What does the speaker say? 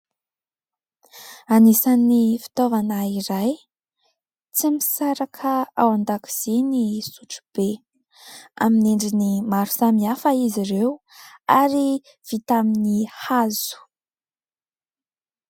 Anisa'ny fitaovana iray tsy misaraka ao an-dakozia ny sotro be. Amin'ny endriny maro samihafa izy ireo ary vita amin'ny hazo.